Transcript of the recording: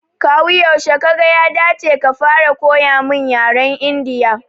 Kawu yaushe Kaga ya dace ka fara koya mun yaren Indiya?